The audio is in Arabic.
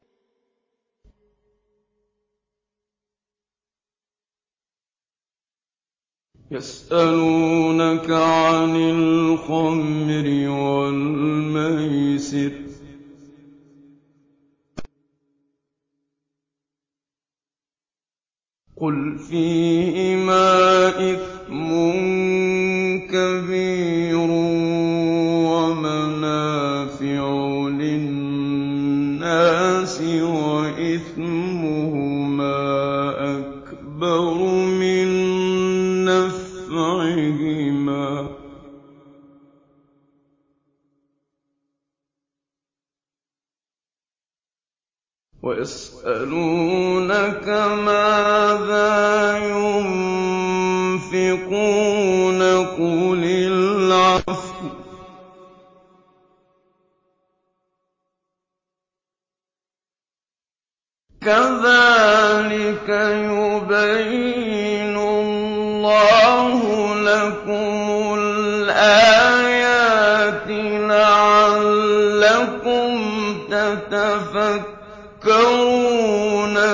۞ يَسْأَلُونَكَ عَنِ الْخَمْرِ وَالْمَيْسِرِ ۖ قُلْ فِيهِمَا إِثْمٌ كَبِيرٌ وَمَنَافِعُ لِلنَّاسِ وَإِثْمُهُمَا أَكْبَرُ مِن نَّفْعِهِمَا ۗ وَيَسْأَلُونَكَ مَاذَا يُنفِقُونَ قُلِ الْعَفْوَ ۗ كَذَٰلِكَ يُبَيِّنُ اللَّهُ لَكُمُ الْآيَاتِ لَعَلَّكُمْ تَتَفَكَّرُونَ